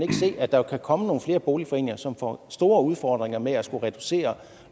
at der kan komme nogle flere boligforeninger som får store udfordringer med at skulle reducere